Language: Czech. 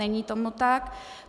Není tomu tak.